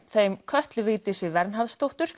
þeim Kötlu Vigdísi